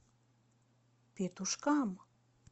петушкам